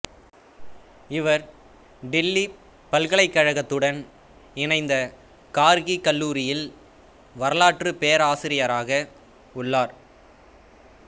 இவர் தில்லி பல்கலைக்கழகத்துடன் இணைந்த கார்கி கல்லூரியில் வரலாற்றுப் பேராசிரியராக உள்ளார்